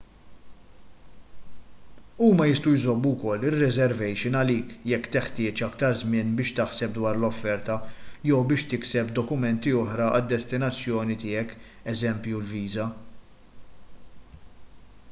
huma jistgħu jżommu wkoll ir-reservation għalik jekk teħtieġ aktar żmien biex taħseb dwar l-offerta jew biex tikseb dokumenti oħra għad-destinazzjoni tiegħek eż. viża